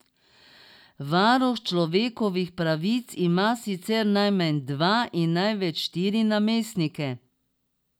Varuh človekovih pravic ima sicer najmanj dva in največ štiri namestnike.